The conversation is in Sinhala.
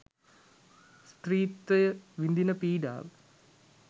ස්ත්‍රීත්වය විඳින පීඩාව